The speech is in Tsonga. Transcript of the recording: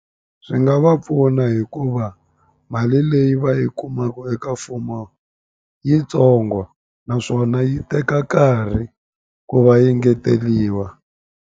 Swi nga va pfuna hikuva mali leyi va yi kumaku eka mfumo yitsongo naswona yi teka nkarhi ku va yi ngeteliwa.